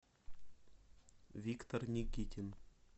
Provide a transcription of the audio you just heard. виктор никитин